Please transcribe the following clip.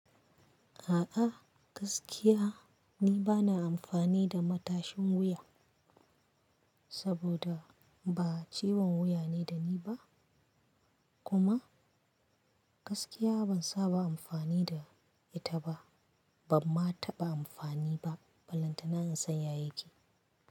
A'a gaskiya ni bana amfani da matashin wuya saboda ba ciwon wuya ne da ni ba kuma gaskiya ban saba amfani da ita ba, bamma taɓa amfani ba. Ballantana in san ya yake.